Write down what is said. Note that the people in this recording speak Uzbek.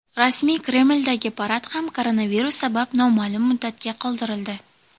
Rasmiy Kremldagi parad ham koronavirus sabab noma’lum muddatga qoldirildi.